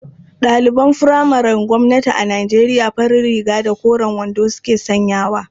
Ɗaliban furamaren gwamnati a Nijeriya farar riga da koren wando suke sanyawa.